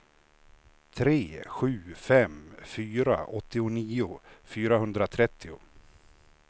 tre sju fem fyra åttionio fyrahundratrettio